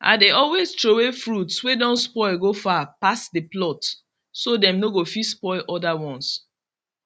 i dey always throway fruits way don spoil go far pass the plot so dem no fit spoil oda ones